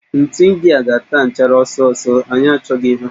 Ntu ndia ga-ata nchara ọsọ ọsọ, anyị achọghị ha